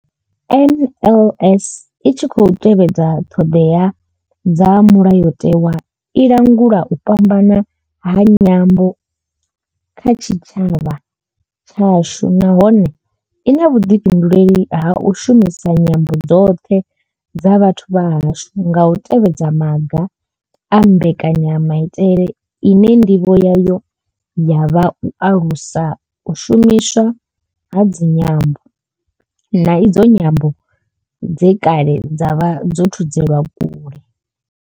NLS I tshi khou tevhedza ṱhodea dza Mulayotewa, i langula u fhambana ha nyambo kha tshitshavha tshashu nahone I na vhuḓifhinduleli ha u shumisa nyambo dzoṱhe dza vhathu vha hashu nga u tevhedza maga a mbekanyamaitele ine nḓivho yayo ya vha u alusa u shumiswa ha idzi nyambo, na idzo nyambo dze kale dza vha dzo thudzelwa kule.